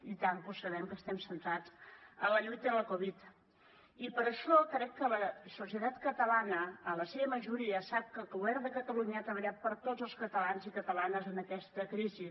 i tant que ho sabem que estem centrats en la lluita de la covid i per això crec que la societat catalana en la seva majoria sap que el govern de catalunya ha treballat per a tots els catalans i catalanes en aquesta crisi